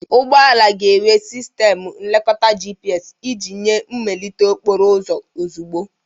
Ụgbọ ala ga-enwe sistemu nlekota GPS iji nye mmelite okporo ụzọ ozugbo.